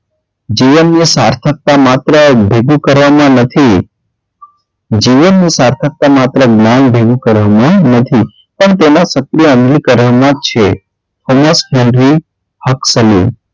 જીવનની સાર્થકતા માત્ર ભેગું કરવામાં નથી જીવનની સાર્થકતા માત્ર જ્ઞાન ભેગું કરવામાં નથી પણ તેમાં સક્રિય માં છે